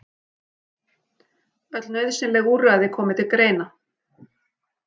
Öll nauðsynleg úrræði komi til greina